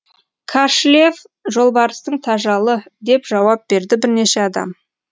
кашлев жолбарыстың тажалы деп жауап берді бірнеше адам